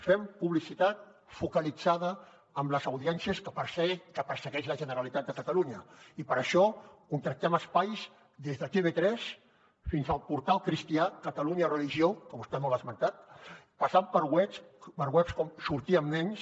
fem publicitat focalitzada en les audiències que persegueix la generalitat de catalunya i per això contractem espais des de tv3 fins al portal cristià catalunya religió que vostè no l’ha esmentat passant per webs com sortirambnens